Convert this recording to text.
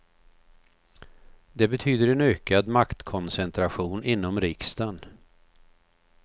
Det betyder en ökad maktkoncentration inom riksdagen.